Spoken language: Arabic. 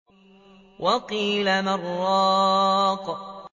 وَقِيلَ مَنْ ۜ رَاقٍ